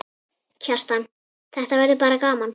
Kjartan: Þetta verður bara gaman?